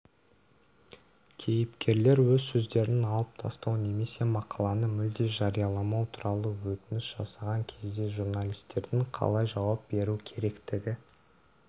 кейіпкерлер өз сөздерін алып тастау немесе мақаланы мүлде жарияламау туралы өтініш жасаған кезде журналистердің қалай жауап беру керектігі